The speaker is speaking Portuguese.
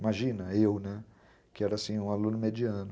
Imagina, eu, né, que era, assim, um aluno mediano.